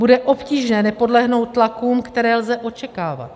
Bude obtížné nepodlehnout tlakům, které lze očekávat.